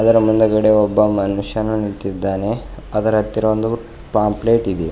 ಅದರ ಮುಂದೆಗಡೆ ಒಬ್ಬ ಮನುಷ್ಯನು ನಿಂತಿದ್ದಾನೆ ಅದರ ಹತ್ತಿರ ಒಂದು ಪಾಂಪ್ಲೆಟ್ ಇದೆ.